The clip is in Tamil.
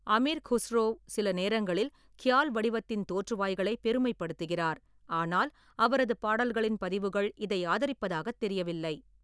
அமீர் குஸ்ரோ சில நேரங்களில் க்யால் வடிவத்தின் தோற்றுவாய்களைப் பெருமைப்படுத்துகிறார், ஆனால் அவரது பாடல்களின் பதிவுகள் இதை ஆதரிப்பதாகத் தெரியவில்லை.